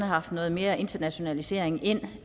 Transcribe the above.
haft noget mere internationalisering ind